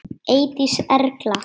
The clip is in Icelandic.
Eydís Erla.